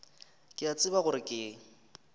ke a tseba gore ke